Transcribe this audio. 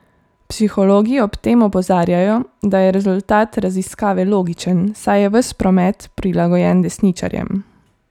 Psihologi ob tem opozarjajo, da je rezultat raziskave logičen, saj je ves promet prilagojen desničarjem.